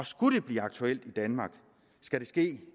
skulle det blive aktuelt i danmark skal det ske